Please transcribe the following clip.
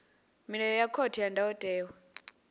milayo ya khothe ya ndayotewa